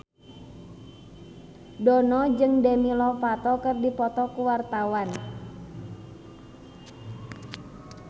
Dono jeung Demi Lovato keur dipoto ku wartawan